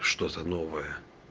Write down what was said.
что за новая